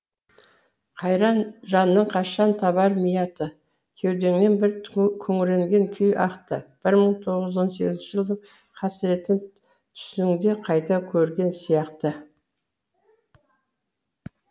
қайран жаның қашан табар миятты кеудеңнен бір күңіренген күй ақты бір мың тоғыз жүз он сегізінші жылдың қасіретін түсіңде қайта көрген сияқты